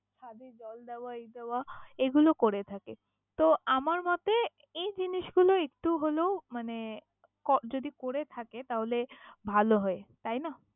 খালি জল দেওয়া এই দেওয়া এইগুলো করে থাকে, তো আমার মতে এই জিনিসগুলো একটু হলেও মানে ক~ যদি করে থাকে তাহলে ভালো হয় তাইনা?